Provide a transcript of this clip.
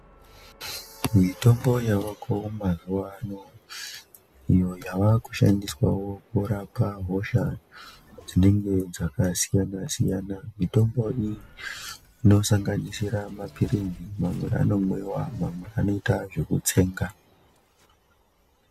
Mitombo yavako mazuva ano iyo yava kushandiswawo kurapa hosha dzinenge dzakasiyana siyana, mitombo iyi inosanganisira maphirizi mamweni anomwiwa mamwe anoita zvekutsenga.